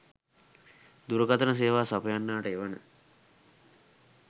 දුරකථන සේවා සපයන්නාට එවන